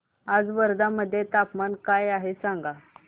आज वर्धा मध्ये तापमान काय आहे सांगा